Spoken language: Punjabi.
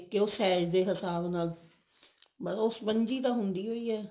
ਕੇ ਉਹ size ਦੇ ਹਿਸਾਬ ਨਾਲ ਸ੍ਪ੍ਨ੍ਜੀ ਤਾਂ ਹੁੰਦੀ ਹੀ ਹੈ